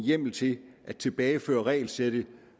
hjemmel til at tilbageføre regelsættet